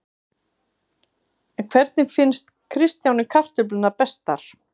En hvernig finnst Kristjáni kartöflurnar bestar?